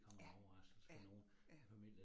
Ja, ja, ja